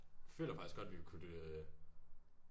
Føler faktisk godt vi ville kunne det